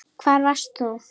Hvar varst þú???